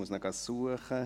Ich muss ihn suchen.